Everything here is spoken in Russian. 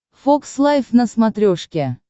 фокс лайв на смотрешке